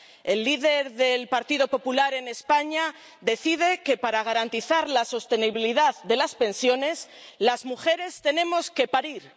El líder del Partido Popular en España decide que, para garantizar la sostenibilidad de las pensiones, las mujeres tenemos que parir